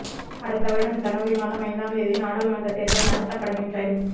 அடுத்த வருடம் ஜனவரி மாதம் ஐந்தாம் தேதி நாடாளுமன்றத் தேர்தல் நடத்தப்படுமென்றும் அறிவிப்பு